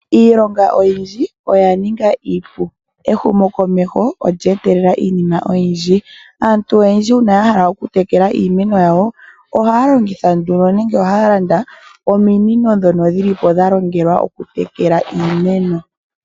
Iilonga oyindji oya ninga iipu. Ehumokomeho olya etelela iinima oyindj. Aantu oyendji uuna ya hala okutekela iimeno yawo, ohaya longitha ominino dhono dhili po dhalongelwa okutekela iimeno.